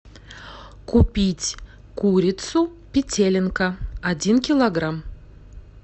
купить курицу петелинка один килограмм